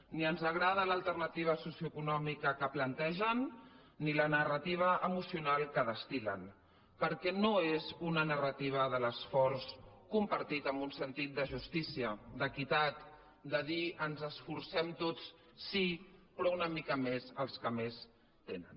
ni ens agrada l’alternativa socioeconòmica que plantegen ni la narra tiva emocional que destil·len perquè no és una narrativa de l’esforç compartit amb un sentit de justícia d’equitat de dir ens esforcem tots sí però una mica més els que més tenen